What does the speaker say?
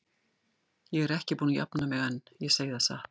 Ég er ekki búin að jafna mig enn, ég segi það satt.